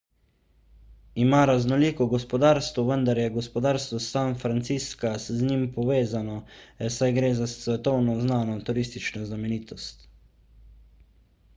ima raznoliko gospodarstvo vendar je gospodarstvo san francisca z njim povezano saj gre za svetovno znano turistično znamenitost